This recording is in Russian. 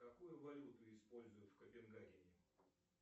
какую валюту используют в копенгагене